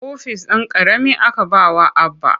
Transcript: Ofis ɗan ƙarami aka ba wa Abba.